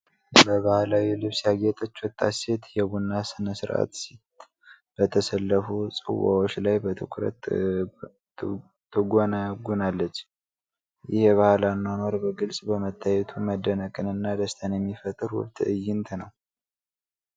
በባህላዊ ልብስ ያጌጠች ወጣት ሴት የቡና ሥነ ሥርዓት ሲት በተሰለፉ ጽዋዎች ላይ በትኩረት ትጎነጉናለች። ይህ የባህል አኗኗር በግልጽ በመታየቱ መደነቅንና ደስታን የሚፈጥር ውብ ትዕይንት ነው።